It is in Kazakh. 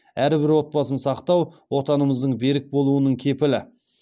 әрбір отбасын сақтау отанымыздың берік болуының кепілі